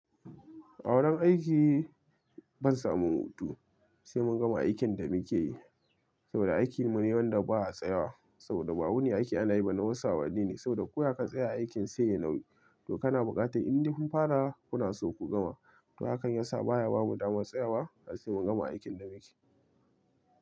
A wurin aiki ban samun hutu sai mun gama aikin da muke yi saboda aikinmu ne wanda ba a tsayawa saboda ba wuni ake ana yi ba na wasu awanni ne saboda ko ya ka tsaya aikin sai yayi nauyi to kana bukatan inde kun fara kuna so ku gama to hakan ya sa baya bamu damar tsayawa har sai mun gama aikin da muke.